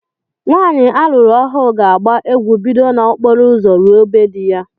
Nwanyị a lụrụ ọhụụ ga agba egwu bido na okporo ụzọ ruo be dị ya